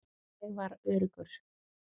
Ég var öruggur.